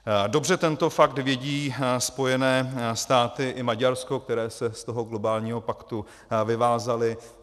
Dobře tento fakt vědí Spojené státy i Maďarsko, které se z toho globálního paktu vyvázaly.